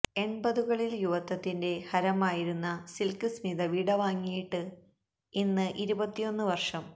എണ്പതുകളില് യുവത്വത്തിന്റെ ഹരമായിരുന്ന സില്ക്ക് സ്മിത വിടവാങ്ങിയിട്ട് ഇന്ന് ഇരുപത്തിയൊന്ന് വര്ഷം